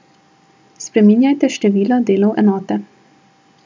Spreminjajte število delov enote.